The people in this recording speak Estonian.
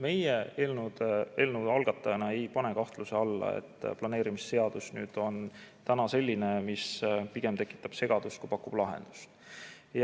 Meie eelnõu algatajatena ei pane kahtluse alla, et planeerimisseadus on täna selline, mis pigem tekitab segadust, kui pakub lahendust.